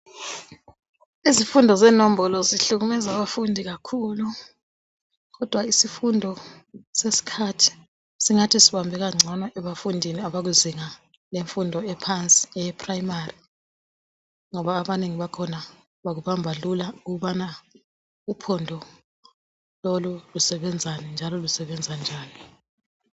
Izifundo zenombolo zihlukumeza abafundi kakhulu kodwa isifundo sesikhathi singathi sibambeka ngcono ebafundini abakuzinga lemfundo ephansi eprimary ngoba abanengi bakhona bakubamba lula bukubona ukuthi uphondo lolu lusebenzana njalo lusebenza njani